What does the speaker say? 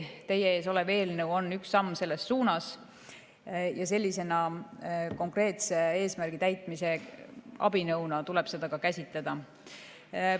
Teie ees olev eelnõu on üks samm selles suunas ja sellise konkreetse eesmärgi täitmise abinõuna tuleb seda ka käsitleda.